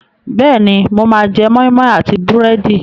Bẹ́ẹ̀ni, mo máa jẹ́ moi moi àti búrẹ́dì.